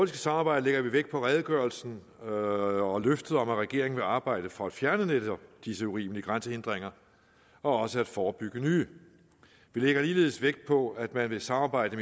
samarbejde lægger vi vægt på redegørelsen og løftet om at regeringen vil arbejde for at fjerne netop disse urimelige grænsehindringer og også forebygge nye vi lægger ligeledes vægt på at man vil samarbejde